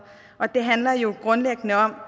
det handler jo grundlæggende om